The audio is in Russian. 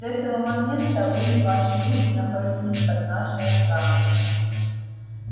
с этого момента вы и ваши люди находитесь под нашей охраной